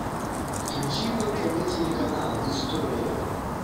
включи мне тв телеканал история